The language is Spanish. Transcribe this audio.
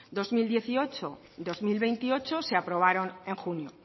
dos mil dieciocho dos mil veintiocho se aprobaron en junio